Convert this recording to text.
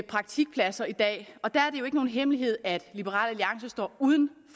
praktikpladser i dag og der er det jo ikke nogen hemmelighed at liberal alliance står uden